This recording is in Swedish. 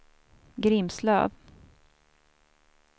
Grimslöv